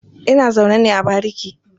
Ina zaune ne a bariki.